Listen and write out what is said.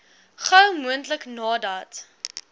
gou moontlik nadat